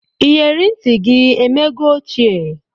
Iyere ntị gị emego ochie?